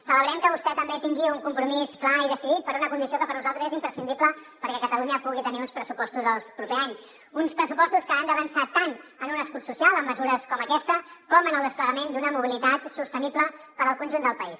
celebrem que vostè també tingui un compromís clar i decidit per una condició que per nosaltres és imprescindible perquè catalunya pugui tenir uns pressupostos el proper any uns pressupostos que han d’avançar tant en un escut social amb mesures com aquesta com en el desplegament d’una mobilitat sostenible per al conjunt del país